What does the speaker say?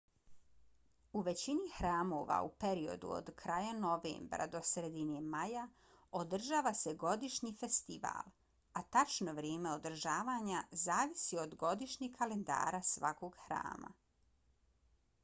u većini hramova u periodu od kraja novembra do sredine maja održava se godišnji festival a tačno vrijeme održavanja zavisi od godišnjeg kalendara svakog hrama